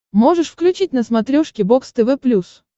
можешь включить на смотрешке бокс тв плюс